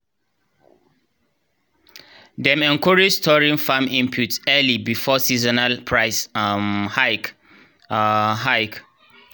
dem encourage storing farm inputs early before seasonal price um hike. um hike.